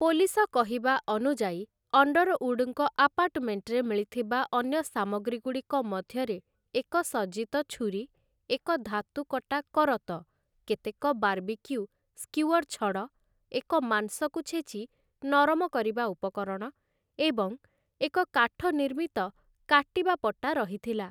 Police କହିବା ଅନୁଯାୟୀ, ଅଣ୍ଡରଉଡ଼୍‍ଙ୍କ ଆପାର୍ଟମେଣ୍ଟ୍‍‍ରେ ମିଳିଥିବା ଅନ୍ୟ ସାମଗ୍ରୀଗୁଡ଼ିକ ମଧ୍ୟରେ ଏକ ସଜ୍ଜିତ ଛୁରୀ, ଏକ ଧାତୁକଟା କରତ, କେତେକ ବାର୍ବିକ୍ୟୁ ସ୍କିୱର୍ ଛଡ଼, ଏକ ମାଂସକୁ ଛେଚି ନରମ କରିବା ଉପକରଣ ଏବଂ ଏକ କାଠ ନିର୍ମିତ କାଟିବା ପଟା ରହିଥିଲା ।